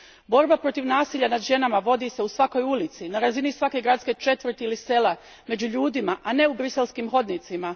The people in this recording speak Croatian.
Borba protiv nasilja nad ženama vodi se u svakoj ulici, na razini svake gradske četvrti ili sela, među ljudima, a ne u briselskim hodnicima.